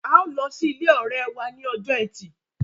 ào ló sì ilé òré wá ní Ọjọ́ Ẹti.